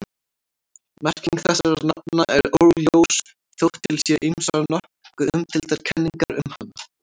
Merking þessara nafna er óljós þótt til séu ýmsar nokkuð umdeildar kenningar um hana.